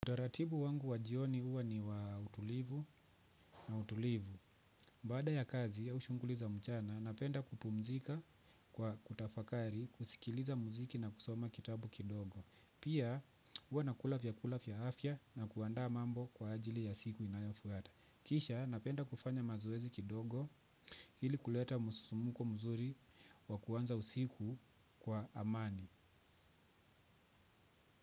Utaratibu wangu wa jioni huwa ni wa utulivu na utulivu. Baada ya kazi au shughuli za mchana napenda kupumzika kwa kutafakari, kusikiliza muziki na kusoma kitabu kidogo. Pia huwa nakula vyakula vya afya na kuandaa mambo kwa ajili ya siku inayofuata. Kisha napenda kufanya mazoezi kidogo ili kuleta msusumko mzuri wa kuanza usiku kwa amani.